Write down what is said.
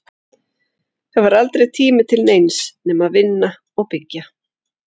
Það var aldrei tími til neins nema að vinna og byggja.